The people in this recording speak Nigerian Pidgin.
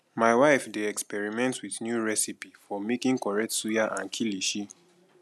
my wife dey experiment with new recipe for making correct suya and kilishi